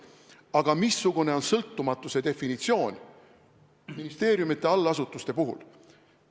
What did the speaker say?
Aga missugune on sõltumatuse definitsioon ministeeriumide allasutuste puhul?